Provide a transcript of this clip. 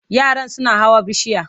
Yaran suna hawa bishiya.